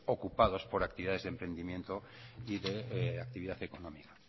ocupados por actividades de emprendimiento y de actividad económica